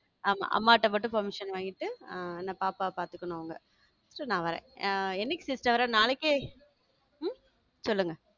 ஆமா அம்மாட்ட மட்டும் permission வாங்கிட்டு ஆ என்னபாப்பா பாத்துக்கணும் அவங்க so நா வர்றேன் ஆஹ் என்னைக்கு sister? நாளைக்கே உம் சொல்லுங்க